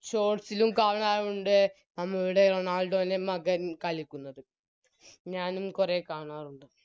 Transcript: Shorts ലും കാണാറുണ്ട് നമ്മളുടെ റൊണാൾഡോൻറെ മകൻ കളിക്കുന്നത് ഞാനും കുറെ കാണാറുണ്ട്